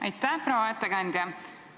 Aitäh, proua ettekandja!